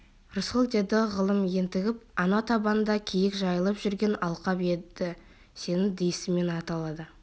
рысқұл деді ғалым ентігіп анау табанда киік жайылып жүрген алқап енді сенің есіміңмен аталады